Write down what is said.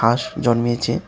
ঘাস জন্মেছে।